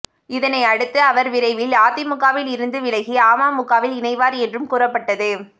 இதனையடுத்து அவர் விரைவில் அதிமுகவில் இருந்து விலகி அமமுகவில் இணைவார் என்றும் கூறப்பட்டது